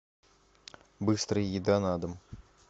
быстрая еда на дом